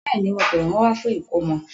Bẹ́ẹ̀ni, mo pẹ wọn wa fún ìkómọ